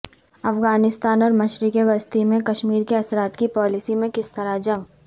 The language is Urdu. افغانستان اور مشرق وسطی میں کشمیر کے اثرات کی پالیسی میں کس طرح جنگ